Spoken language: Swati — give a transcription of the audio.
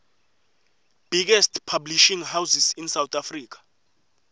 biggest publishing houses in south africa